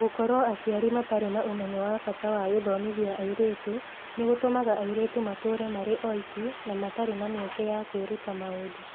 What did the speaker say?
Gũkorũo aciari matirĩ na ũmenyo wa bata wa gũthomithia airĩtu, nĩ gũtũmaga airĩtu matũũre marĩ oiki, na matarĩ na mĩeke ya kwĩruta maũndũ.